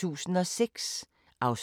DR K